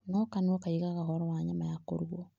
No kanua kaaigaga ũhoro wa nyama ya kũrugwo.